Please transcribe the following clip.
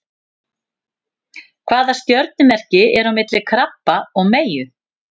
Hvaða stjörnumerki er á milli krabba og meyju?